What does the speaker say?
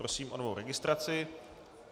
Prosím o novou registraci.